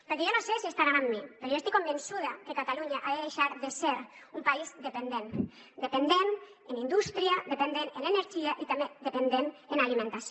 perquè jo no sé si deuen estar amb mi però jo estic convençuda que catalunya ha de deixar de ser un país dependent dependent en indústria dependent en energia i també dependent en alimentació